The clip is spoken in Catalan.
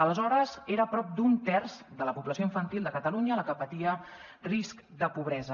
aleshores era prop d’un terç de la població infantil de catalunya la que patia risc de pobresa